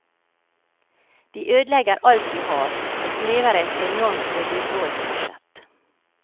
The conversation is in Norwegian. De ødelegger alt du har, det krever et enormt vedlikeholdsbudsjett.